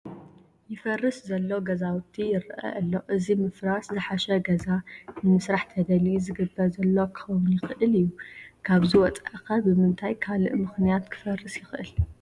ይፈርስ ዘሎ ገዛውቲ ይርአ ኣሎ፡፡ እዚ ምፍራስ ዘሓሸ ገዛ ንምስራሕ ተደልዩ ዝግበር ዘሎ ክኸውን ይኽእል እዩ፡፡ ካብዚ ወፃኢ ኸ ብምንታይ ካልእ ምኽንያት ክፈርስ ይኸእል?